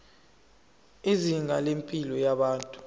izinga lempilo yabantu